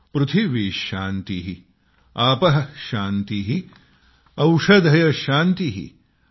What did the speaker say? पृथिवी शान्तिः आपः शान्तिः औषधयः शान्तिः ।